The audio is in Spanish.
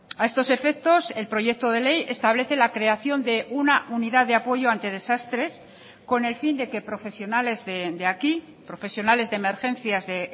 a estos efectos el proyecto de ley establece la creación de una unidad de apoyo ante desastres con el fin de que profesionales de aquí profesionales de emergencias de